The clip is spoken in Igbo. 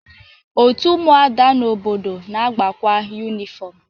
Otu ụmụada n'obodo na-agbakwa yunịfọm.